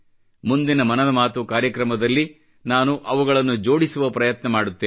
ಮುಂದಿನ ಮನದ ಮಾತು ಕಾರ್ಯಕ್ರಮದಲ್ಲಿ ನಾನು ಅವುಗಳನ್ನು ಜೋಡಿಸುವ ಪ್ರಯತ್ನ ಮಾಡುತ್ತೇನೆ